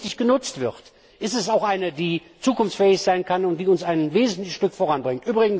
Wenn sie richtig genutzt wird, ist sie auch eine, die zukunftsfähig sein kann und die uns ein wesentliches Stück voran bringt.